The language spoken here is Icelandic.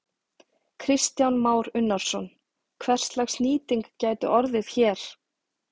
Kristján Már Unnarsson: Hverslags nýting gæti orðið hér?